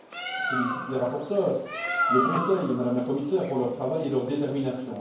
Je félicite les rapporteurs, le Conseil et Mme la commissaire pour leur travail et leur détermination.